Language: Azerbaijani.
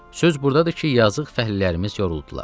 Söz burdadır ki, yazıq fəhlələrimiz yoruldular.